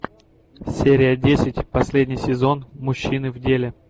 серия десять последний сезон мужчины в деле